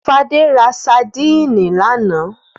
Fadé ra sadínì lánàá?